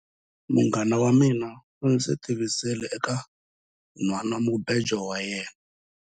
Munghana wa mina u ndzi tivisile eka nhwanamubejo wa yena.